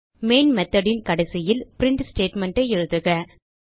main method னின் கடைசியில் print statementஐ எழுதுக